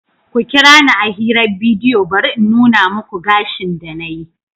Ku kira ni a hirar bidiyo bari in nuna muku gashin da na yi.